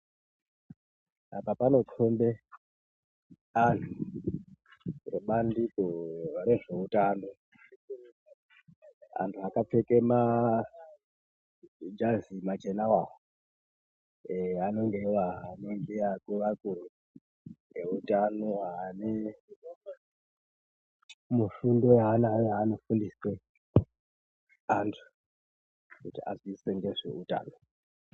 Apa panokombe anhu ebandiko rezveutano. Antu akapfeke majazi machenawo awa eh anenge iwo ah akuru akuru eutano ane mufundo yawo yaanofundise antu kuti aziise ngezveutano.